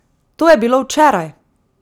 To je bilo včeraj!